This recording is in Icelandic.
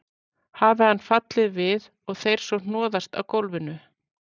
Hafi hann fallið við og þeir svo hnoðast á gólfinu.